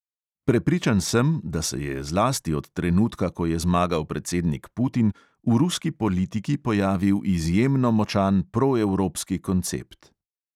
Prepričan sem, da se je zlasti od trenutka, ko je zmagal predsednik putin, v ruski politiki pojavil izjemno močan proevropski koncept.